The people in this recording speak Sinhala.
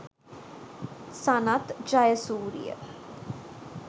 sanath jayasuriya